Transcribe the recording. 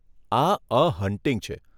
આ 'a hunting' છે.